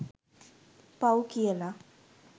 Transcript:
පව් කියලා